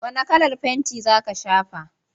Wane kalar fenti za ka shafa?